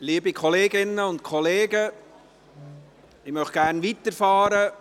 Liebe Kolleginnen und Kollegen, ich möchte gerne weiterfahren.